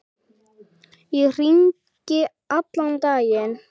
Ég hringi allan daginn.